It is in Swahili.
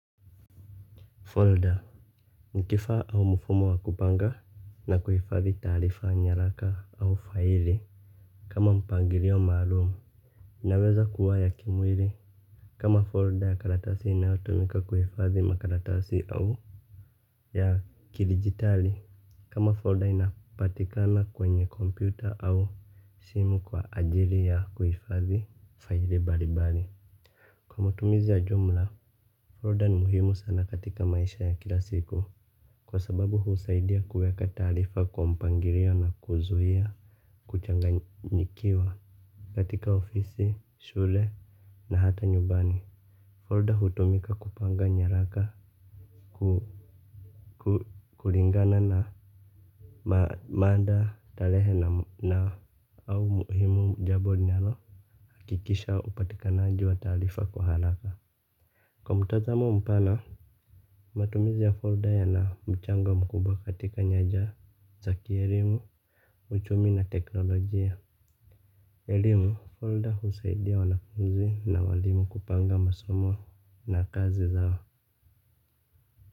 Folder, ni kifaa au mfumo wa kupanga na kuhifadhi taarifa nyaraka au faili kama mpangilio maalum. Inaweza kuwa ya kimwili kama folder ya karatasi inayotumika kuhifadhi makaratasi au ya kidigitali. Kama folder inapatikana kwenye kompyuta au simu kwa ajili ya kuhifadhi faili mbalimbali. Kwa mutumizi ya jumla, folder ni muhimu sana katika maisha ya kila siku. Kwa sababu husaidia kuweka taarifa kwa mpangilio na kuzuia kuchanganyikiwa katika ofisi, shule na hata nyumbani. Folder hutumika kupanga nyaraka kulingana na mada tarehe na au muhimu jambo linalo hakikisha upatikanaji wa taarifa kwa haraka. Kwa mtazamo mpana, matumizi ya folder yana mchango mkubwa katika nyanja za kielimu, uchumi na teknolojia. Elimu, folder husaidia wanafunzi na walimu kupanga masomo na kazi zao.